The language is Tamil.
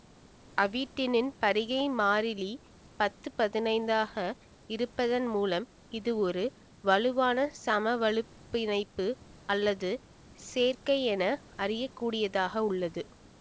அவிடினின் பிரிகை மாறிலி பத்து பதினைந்தாக இருப்பதன் மூலம் இது ஒரு வலுவான சமவலுப் பிணைப்பு அல்லாத சேர்க்கை என அறியக்கூடியதாக உள்ளது